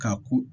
Ka ko